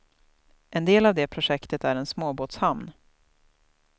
En del av det projektet är en småbåtshamn.